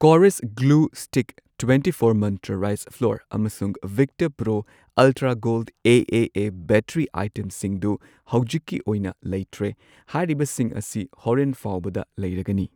Kores glue stick, twenty four Mantra rice flour, ꯑꯃꯁꯨꯡ Victor pro ultra gold A A A battery ꯑꯥꯏꯇꯦꯝꯁꯤꯡꯗꯨ ꯍꯧꯖꯤꯛꯀꯤ ꯑꯣꯏꯅ ꯂꯩꯇ꯭ꯔꯦ, ꯍꯥꯏꯔꯤꯕꯁꯤꯡ ꯑꯁꯤ ꯍꯣꯔꯦꯟ ꯐꯥꯎꯕꯗ ꯂꯩꯔꯒꯅꯤ꯫